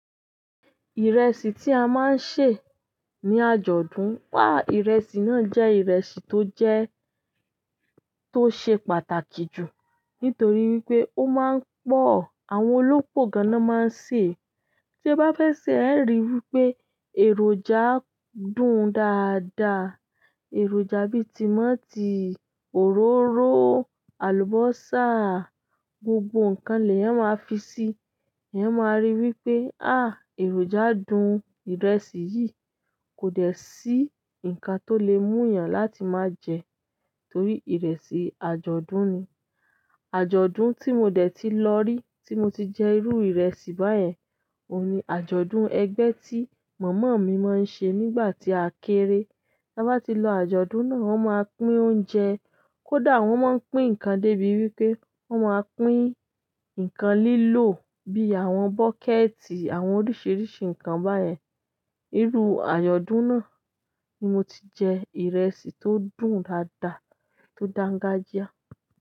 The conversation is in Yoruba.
Ìrẹsì tí a máa ń sè ní àjọ̀dún wa ìrẹsì náà jẹ́ ìrẹsì tó jẹ to ṣe pàtàkì jù nítorí wípé ó máa ń pọ̀, àwọn olópò gan-an ni wọn máa ń sè é. Tí ẹ bá fẹ́ sè ẹ ríi wípé èròjà dùn dáadáa. Èròjà bí i tímọ́tì, òróró, àlùbọ́sà, gbogbo nǹkan lẹ́yan máa fi sí i. Ẹ máa rí i wípé, èròjà dùn ìrẹsì yìí kò dẹ́ sí ǹkan tó lè mú èèyàn láti má jẹ ẹ torí ìrẹsì àjọ̀dún ni. Ajọdun ti mo de tii lórí ti i mo ti jẹ irú ìrẹsì bayen, ohun ni ajọdun ẹgbẹ tii mama mi maa n se nígbà ti a kere. Ta ti lọ ajọdun náà, wọn maa pín oúnjẹ kódà wọn maa n pín nǹkan de bi wípé, wọn máa pín nǹkan lilo bíi àwọn bucket, àwọn oríṣiríṣi nǹkan bayen irú àjọ̀dún náà ni mo ti jẹ ìrẹsì tó dùn dáadáa tó dangajia.